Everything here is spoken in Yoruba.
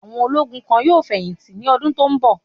Àwọn ológun kan yóò fẹ̀yìn tì ní ọdún tó ń bọ̀.